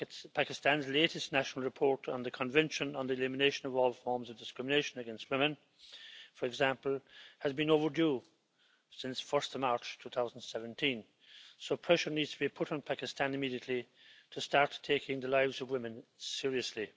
Pakistan's latest national report on the Convention on the Elimination of All Forms of Discrimination against Women, for example, has been overdue since 1 March 2017, so pressure needs to be put on Pakistan immediately to start taking the lives of women seriously.